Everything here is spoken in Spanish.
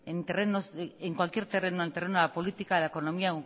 en cualquier terreno en terreno de la política de la economía